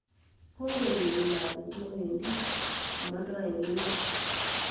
Kokeyet mabet newedi komodo en emet